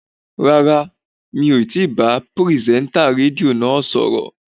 Rara, mi ò ti bá pìrìsẹ́ńtà rédíò náà sọ̀rọ̀